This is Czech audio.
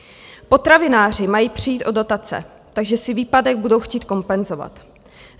Potravináři mají přijít o dotace, takže si výpadek budou chtít kompenzovat.